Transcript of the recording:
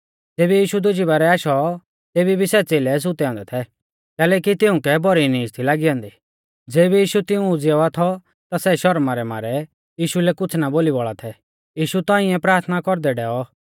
ज़ेबी यीशु दुजी बारै आशौ तेबी भी सै च़ेलै सुतै औन्दै थै कैलैकि तिउंकै भौरी नीज थी लागी औन्दी ज़ैबै यीशु तिऊं उज़ीयावा थौ ता सै शौरमा रै मारै यीशु लै कुछ़ ना बोली बौल़ा थै यीशु तौंइऐ प्राथना कौरदै डैयौ